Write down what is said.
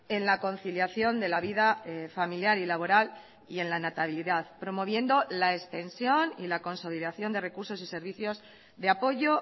en la conciliación de la vida familiar y laboral y en la natalidad promoviendo la extensión y la consolidación de recursos y servicios de apoyo